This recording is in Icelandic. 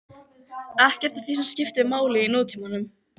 Ekkert af því sem skiptir máli í nútímanum.